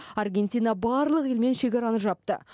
аргентина барлық елмен шекараны жапты